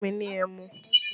Fún mi ní ẹmu!